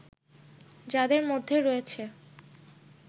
যাদের মধ্যে রয়েছে